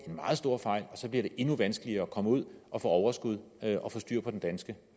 en meget stor fejl og så bliver det endnu vanskeligere at komme ud og få overskud og få styr på den danske